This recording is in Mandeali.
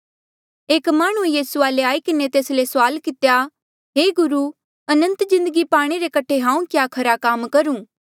एक माह्णुंऐ यीसू वाले आई किन्हें तेस ले सुआल कितेया हे गुरु अनंत जिन्दगी पाणे रे कठे हांऊँ क्या खरा काम करूं